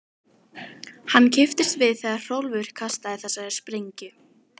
Hann kippist við þegar Hrólfur kastar þessari sprengju.